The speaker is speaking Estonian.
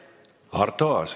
Arto Aas.